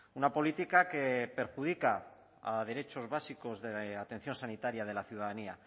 una política que perjudica a derechos básicos de atención sanitaria de la ciudadanía